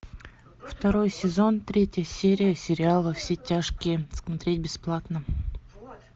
второй сезон третья серия сериала во все тяжкие смотреть бесплатно